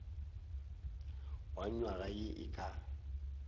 wa nywaga ye e ka